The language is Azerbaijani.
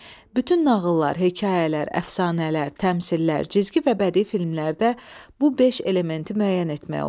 Bütün nağıllar, hekayələr, əfsanələr, təmsillər, cizgi və bədii filmlərdə bu beş elementi müəyyən etmək olar.